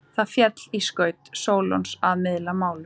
Það féll í skaut Sólons að miðla málum.